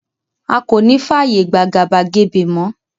A ko ní fàyè gba àgàbàgebè mo